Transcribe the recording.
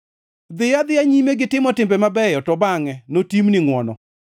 Dhiyo adhiya nyime gitimo timbe mabeyo, to bangʼe notimni ngʼwono.